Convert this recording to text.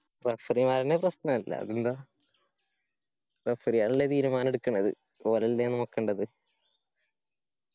referee മാരെന്നെ പ്രശ്‌നല്ലേ അതെന്താ referee അല്ലെ തീരുമാനം എട്ക്ക്ണത് ഓരല്ലേ നോക്കണ്ടത്